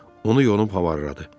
Onu yonub havarladı.